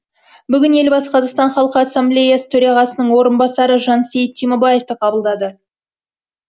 бүгін елбасы қазақстан халқы ассамблеясы төрағасының орынбасары жансейіт түймебаевты қабылдады